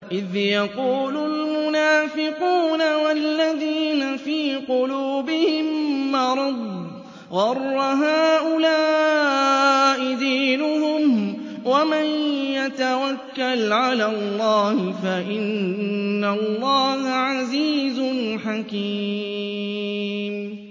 إِذْ يَقُولُ الْمُنَافِقُونَ وَالَّذِينَ فِي قُلُوبِهِم مَّرَضٌ غَرَّ هَٰؤُلَاءِ دِينُهُمْ ۗ وَمَن يَتَوَكَّلْ عَلَى اللَّهِ فَإِنَّ اللَّهَ عَزِيزٌ حَكِيمٌ